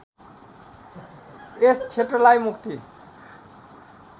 यस क्षेत्रलाई मुक्ति